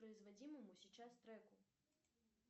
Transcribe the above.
производимому сейчас треку